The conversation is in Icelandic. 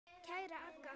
Kæra Agga.